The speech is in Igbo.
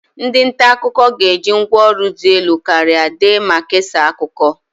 Ndị nta akụkọ ga-eji ngwa ọrụ dị elu karịa dee ma kesaa akụkọ.